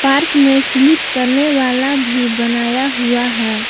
Park में slip करने वाला भी बनाया हुआ है।